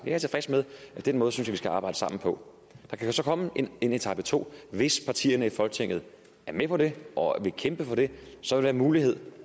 jeg tilfreds med og den måde synes jeg vi skal arbejde sammen på der kan så komme en etape to og hvis partierne i folketinget er med på det og vil kæmpe for det så er det en mulighed